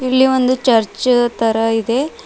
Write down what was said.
ಇಲ್ಲಿ ಒಂದು ಚರ್ಚ್ ತರ ಇದೆ.